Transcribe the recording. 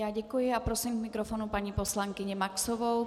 Já děkuji a prosím k mikrofonu paní poslankyni Maxovou.